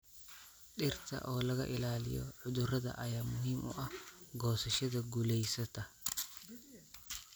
Dhirta oo laga ilaaliyo cudurada ayaa muhiim u ah goosashada guulaysata.